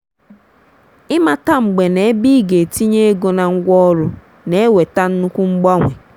ịmata mgbe na ebe ị ga-etinye ego na ngwaọrụ na-eweta nnukwu mgbanwe.